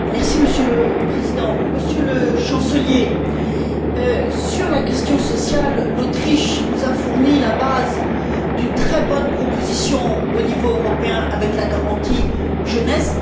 Monsieur le Président, Monsieur le Chancelier, sur la question sociale, l'Autriche nous a fourni la base d'une très bonne proposition au niveau européen avec la garantie jeunesse.